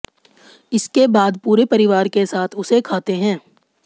इसके बाद पूरे परिवार के साथ उसे खाते हैं